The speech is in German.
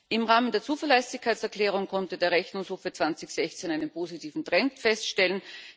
Im Rahmen der Zuverlässigkeitserklärung konnte der Rechnungshof für 2016 einen positiven Trend feststellen.